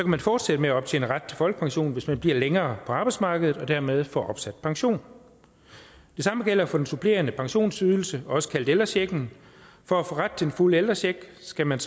man fortsætte med at optjene ret til folkepension hvis man bliver længere på arbejdsmarkedet og dermed få opsat pension det samme gælder for den supplerende pensionsydelse også kaldet ældrechecken for at få ret til den fulde ældrecheck skal man